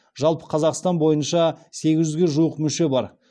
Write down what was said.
жалпы қазақстан бойынша сегіз жүзге жуық мүше бар